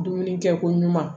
Dumuni kɛ ko ɲuman